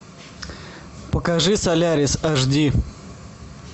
покажи солярис аш ди